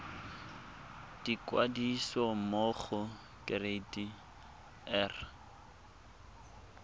ikwadisa mo go kereite r